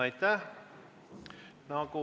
Aitäh!